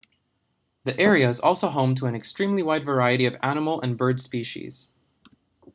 the area is also home to an extremely wide variety of animal and bird species